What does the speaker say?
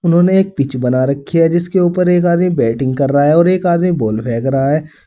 उन्होंने एक पिच बना रखी है जिसके ऊपर एक आदमी बैटिंग कर रहा है और एक आदमी बॉल फेंक रहा है।